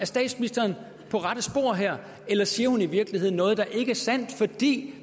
statsministeren på rette spor her eller siger hun i virkeligheden noget der ikke er sandt fordi